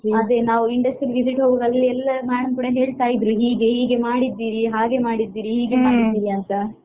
ಅದೇ ನಾವು industrial visit ಹೋಗುವಾಗ ಅಲ್ಲಿ ಎಲ್ಲಾ ಮ್ಯಾಡಮ್ ಕೂಡ ಹೇಳ್ತಾ ಇದ್ರು ಹೀಗೆ ಹೀಗೆ ಮಾಡಿದ್ದೀರಿ ಹಾಗೆ ಮಾಡಿದ್ದೀರಿ ಹೀಗೆ ಮಾಡಿದ್ದೀರಿ ಅಂತ.